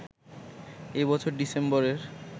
এ বছর ডিসেম্বরের